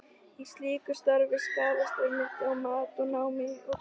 Í slíku starfi skarast einmitt mat á námi og kennslu.